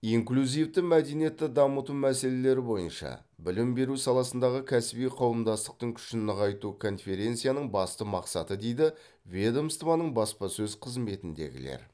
инклюзивті мәдениетті дамыту мәселелері бойынша білім беру саласындағы кәсіби қауымдастықтың күшін нығайту конференцияның басты мақсаты дейді ведомствоның баспасөз қызметіндегілер